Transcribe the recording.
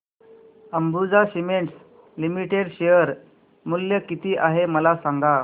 Ambuja cements limited share मूल्य किती आहे मला सांगा